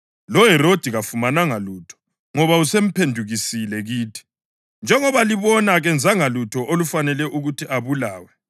LoHerodi kafumananga lutho, ngoba usemphendukisile kithi; njengoba libona, kenzanga lutho olufanele ukuthi abulawe.